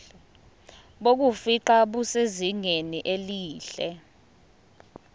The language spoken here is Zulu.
bokufingqa busezingeni elihle